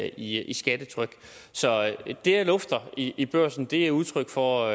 i i skattetryk så det jeg lufter i i børsen er udtryk for